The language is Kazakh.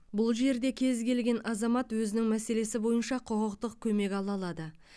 бұл жерде кез келген азамат өзінің мәселесі бойынша құқықтық көмек ала алады